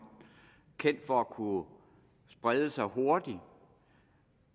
kendt for at kunne sprede sig hurtigt